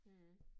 Mh